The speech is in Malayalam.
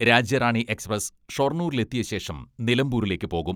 രാജ്യറാണി എക്സ്പ്രസ് ഷൊർണൂരിലെത്തിയ ശേഷം നിലമ്പൂരിലേക്ക് പോകും.